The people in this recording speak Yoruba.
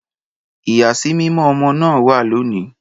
Ìyàsímímọ́ ọmọ náà wà lónìí